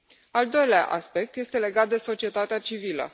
Al doilea aspect este legat de societatea civilă.